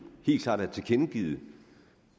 helt klart tilkendegivet